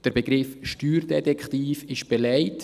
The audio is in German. Der Begriff Steuerdetektiv ist belegt.